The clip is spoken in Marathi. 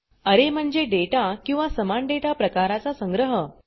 अरे म्हणजे डेटा किंवा समान डेटा प्रकाराचा संग्रह